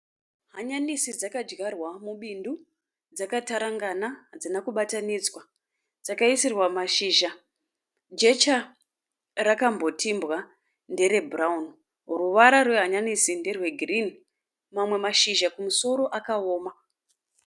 Hanyanisi dzakadyarwa mubindu dzakatarangana hadzina kubatanidzwa. Dzakaisirwa mashizha jecha rakambotimbwa ndere (brown). Ruvara rwehanyanisi nderwe girini mamwe mashizha kumusoro akawoma.